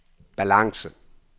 balance